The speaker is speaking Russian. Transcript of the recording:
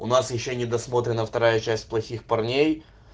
такое нормально такое бывает